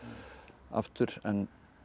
aftur en